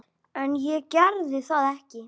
En ég gerði það ekki.